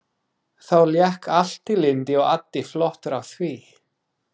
Þá lék allt í lyndi og addi flottur á því.